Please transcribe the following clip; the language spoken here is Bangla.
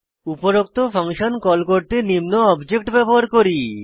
উপরোক্ত ফাংশন কল করতে নিম্ন অবজেক্ট ব্যবহার করি